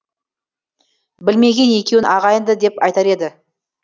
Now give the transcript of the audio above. білмеген екеуін ағайынды деп айтар еді